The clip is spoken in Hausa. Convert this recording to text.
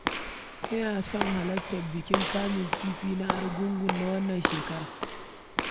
Ina son halarta bikin kamun kifi na Argungu na wannan shekarar.